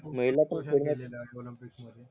महिला पण पाशी